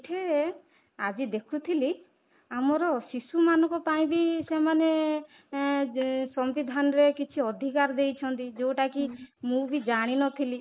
ସେଇଠି ଆଜି ଦେଖୁଥିଲି ଆମର ଶିଶୁ ମାନଙ୍କ ପାଇଁ ବି ସେମାନେ ସମ୍ବିଧାନରେ କିଛି ଅଧିକାର ଦେଇଛନ୍ତି ଯୋଉଟା କି ମୁଁ ବି ଜାଣିନଥିଲି